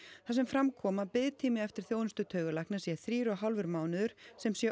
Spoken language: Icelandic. þar sem fram kom að biðtími eftir þjónustu taugalækna sé þrír og hálfur mánuður sem sé